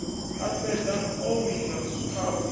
a fhedza o wina khaphu